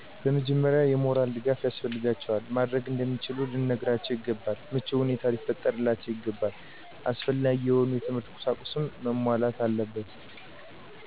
በመጀመሪያ የሞራል ድጋፍ ያስፈልጋቸዋል። ማድረግ እንደሚችሉ ልንነግራቸው ይገባል። ምቹ ሁኔታ ሊፈጠርላቸው ይገባል። አስፈላጊ የሆኑ የትምህርት ቁሳቁሶች መሟላት አለበት።